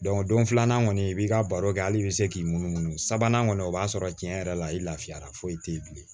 don filanan kɔni i b'i ka baro kɛ hali i bɛ se k'i munumunu sabanan kɔni o b'a sɔrɔ tiɲɛ yɛrɛ la i lafiyara foyi tɛ yen bilen